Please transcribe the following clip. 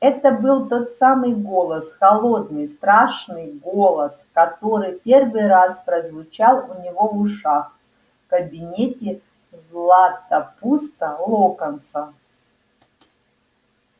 это был тот самый голос холодный страшный голос который первый раз прозвучал у него в ушах в кабинете златопуста локонса